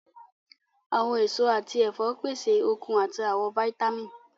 Awọn eso ati ẹfọ pese okun ati awọn vitamin